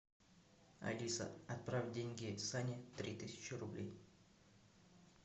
алиса отправь деньги сане три тысячи рублей